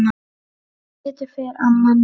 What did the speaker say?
Sem betur fer amma mín.